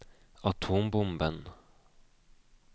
atombomben